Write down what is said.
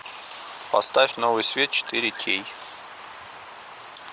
поставь новый свет четыре кей